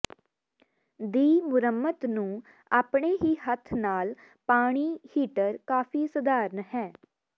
ਦੀ ਮੁਰੰਮਤ ਨੂੰ ਆਪਣੇ ਹੀ ਹੱਥ ਨਾਲ ਪਾਣੀ ਹੀਟਰ ਕਾਫ਼ੀ ਸਧਾਰਨ ਹੈ